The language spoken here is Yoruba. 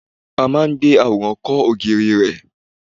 A máa ń gbé àwòrán kọ́ ògiri rẹ̀.